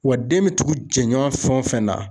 Wa den bɛ tugu jɛɲɔgɔn fɛn o fɛn na